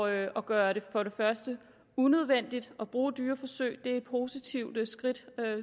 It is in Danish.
at at gøre det unødvendigt at bruge dyreforsøg er et positivt skridt